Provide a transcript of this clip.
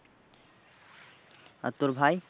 আর তোর ভাই?